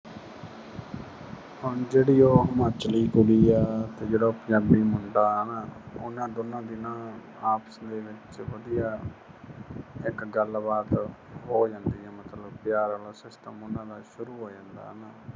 ਹੁਣ ਜਿਹੜੀ ਉਹ ਹਿਮਾਚਲੀ ਕੁੜੀ ਆ ਤੇ ਜਿਹੜਾ ਉਹ ਪੰਜਾਬੀ ਮੁੰਡਾ ਏ ਹਨਾ, ਉਹਨਾਂ ਦੋਨਾਂ ਦੀ ਨਾ ਆਪਸ ਦੇ ਵਿੱਚ ਵਧੀਆ ਇੱਕ ਗੱਲਬਾਤ ਹੋ ਜਾਂਦੀ ਏ ਮਤਲਬ ਪਿਆਰ ਵਾਲਾ system ਉਹਨਾਂ ਦਾ ਸ਼ੁਰੂ ਹੋ ਜਾਂਦਾ ਹਨਾ।